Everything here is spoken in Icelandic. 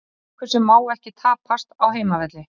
Það er leikur sem má ekki tapast á heimavelli.